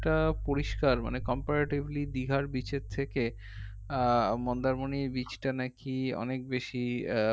এটা পরিষ্কার মানে comparatively দীঘার beach এর থেকে আহ মন্দারমণির beach টা নাকি অনেক বেশি